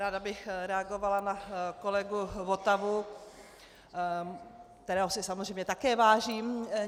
Ráda bych reagovala na kolegu Votavu, kterého si samozřejmě také vážím.